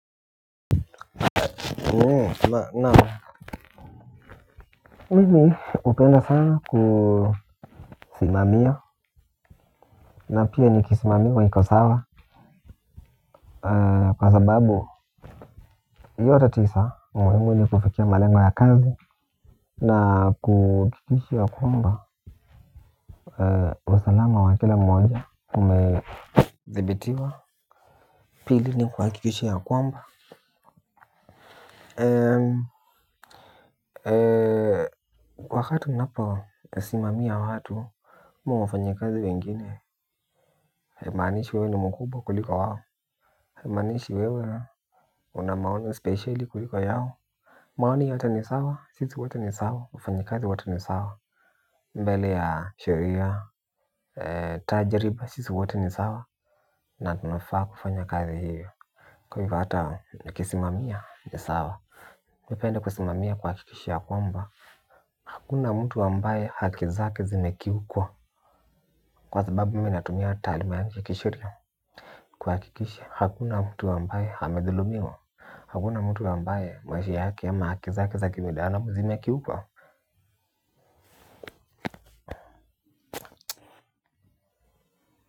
Naam mimi hupenda sana kusimamia na pia nikisimamiwa niko sawa kwa sababu yote tisa umuhimu ni kufikia malengo ya kazi na kuhakikisha ya kwamba usalama wa kila mmoja umezibitiwa pili ni kuhakikishi ya kwamba wakati unaposimamia watu ama wafanyikazi wengine, haimaanishi wewe ni mkubwa kulika wao haimaanishi wewe una maono spesheli kuliko yao maoni yote ni sawa, sisi wote ni sawa, wafanyikazi wote ni sawa. Mbele ya sheria, tajriba sisi wote ni sawa. Na tunafaa kufanya kazi hivyo. Kwa hata nikisimamia ni sawa ningependa kusimamia kuhakikisha ya kwamba hakuna mtu ambaye haki zake zimekiukwa, kwa sababu mimi natumia taaluma yangu kisheria, kuhakikisha hakuna mtu ambaye amedhulumiwa. Hakuna mtu ambaye maisha yake ama haki zake za kibinadamu zimekiukwa.